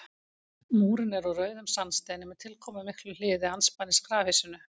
Múrinn er úr rauðum sandsteini með tilkomumiklu hliði andspænis grafhýsinu.